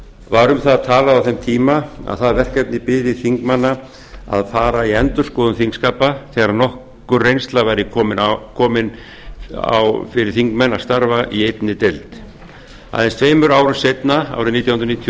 var um það talað á þeim tíma að það verkefni biði þingmanna að fara í endurskoðun þingskapa þegar nokkur reynsla væri á það komin fyrir þingmenn að starfa í einni deild aðeins tveimur árum seinna árið nítján hundruð níutíu og